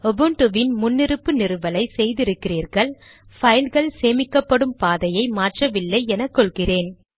உபுன்டுவின் முன்னிருப்பு நிறுவலை செய்திருக்கிறீர்கள் பைல்கள் சேமிக்கப்படும் பாதையை மாற்றவில்லை என கொள்கிறேன்